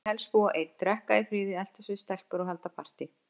Ég vildi helst búa einn, drekka í friði, eltast við stelpur og halda partý.